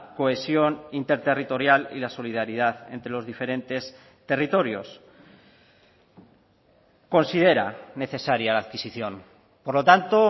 cohesión interterritorial y la solidaridad entre los diferentes territorios considera necesaria la adquisición por lo tanto